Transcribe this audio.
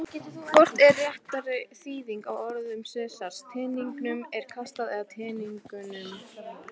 Hvort er réttari þýðing á orðum Sesars: Teningnum er kastað eða Teningunum?